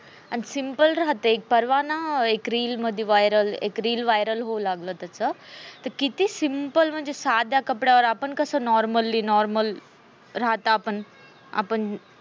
आणि simple राहते परवाना एक reel आली मध्ये viral होऊ लागला त्याच, आणि किती simple म्हणजे साध्या कपड्यावर आपण कस normally normal राहते आपण आपण